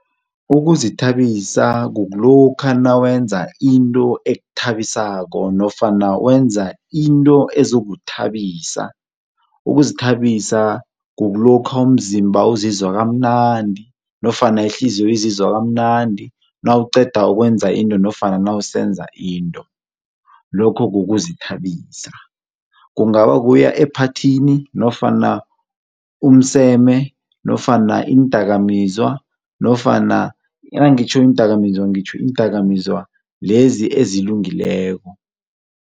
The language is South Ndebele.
Ukuzithabisa kukulokha nawenza into ekuthabisako nofana wenza into ezokuzithabisa. Ukuzithabisa kukulokha umzimba uzizwa kamnandi nofana ihliziyo izizwa kamnandi nawuqeda ukwenza into nofana nawusenza into, lokho kukuzithabisa. Kungaba kukuya ephathini nofana umseme, nofana iindakamizwa, nofana nangitjho iindakamizwa ngitjho iindakamizwa lezi ezilungileko.